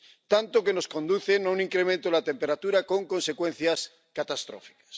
Tanto, que nos conducen a un incremento de la temperatura, con consecuencias catastróficas.